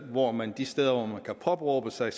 hvor man de steder hvor man kan påberåbe sig